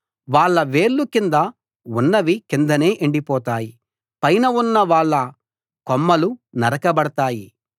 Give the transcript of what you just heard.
వాళ్ళ వేళ్లు కింద ఉన్నవి కిందనే ఎండిపోతాయి పైన ఉన్న వాళ్ళ కొమ్మలు నరకబడతాయి